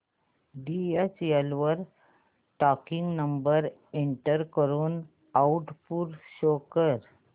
DHL वर tracking number enter करून output show कर